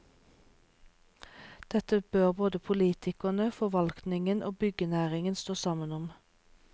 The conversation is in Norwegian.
Dette bør både politikerne, forvaltningen og byggenæringen stå sammen om.